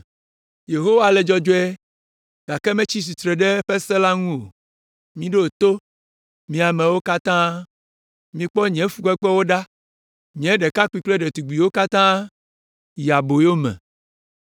“Yehowa le dzɔdzɔe, gake metsi tsitre ɖe eƒe se la ŋu. Miɖo to, mi amewo katã, mikpɔ nye fukpekpewo ɖa. Nye ɖekakpuiwo kple ɖetugbiwo katã yi aboyo me.